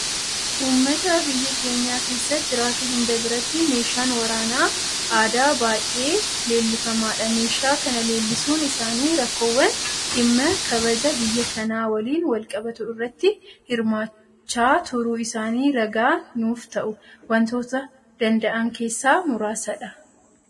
Uummata biyya keenya keessa jiraatu hunda biratti meeshaan waraana aadaa baay'ee leellifamaadha. Meeshaa kana leellisuun isaanii rakkoowwan dhimma kabaja biyya kanaa waliin walqabatu irratti hirmaachaa turuu isaanii ragaa nuufta'uu waantota danda'an keessaa muraasadha.